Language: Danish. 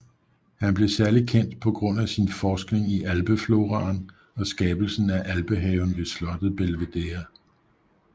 Han blev særligt kendt på grund af sin forskning i Alpefloraen og skabelsen af alpehaven ved slottet Belvedere